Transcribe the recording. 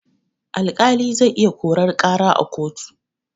Alƙali zai iya korar ƙara a kotu.